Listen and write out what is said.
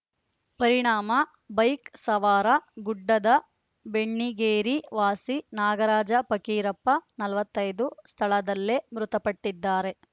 ಪರಿಣಾಮ ಬೈಕ್‌ ಸವಾರ ಗುಡ್ಡದ ಬೆಣ್ಣಿಗೇರಿ ವಾಸಿ ನಾಗರಾಜ ಪಕ್ಕಿರಪ್ಪ ನಲವತ್ತೈದು ಸ್ಥಳದಲ್ಲೇ ಮೃತಪಟ್ಟಿದ್ದಾರೆ